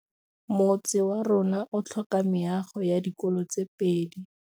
Motse warona o tlhoka meago ya dikolô tse pedi.